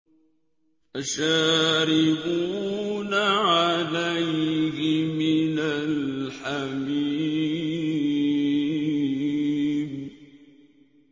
فَشَارِبُونَ عَلَيْهِ مِنَ الْحَمِيمِ